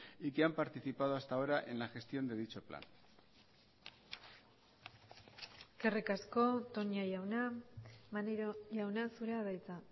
y que han participado hasta ahora en la gestión de dicho plan eskerrik asko toña jauna maneiro jauna zurea da hitza